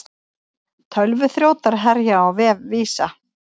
Tölvuþrjótar herja á vef Visa